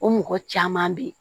O mɔgɔ caman be yen